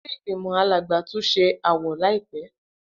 Ile-igbimọ Alagba tun ṣe awọ laipẹ.